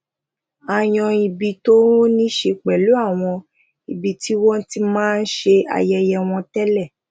a yan ibi tó níse pelu àwọn ibi tí wọn ti máa n se ayeye won tele